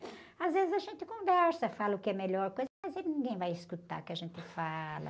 Às vezes a gente conversa, fala o que é melhor, mas ninguém vai escutar o que a gente fala.